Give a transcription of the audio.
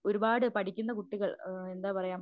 ഒരുപാട് പഠിക്കുന്ന കുട്ടികള് അഹ് എന്താ പറയാ